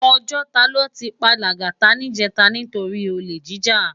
Òjòtá lò ti pá Lagata nijètá nitóri ólé jijá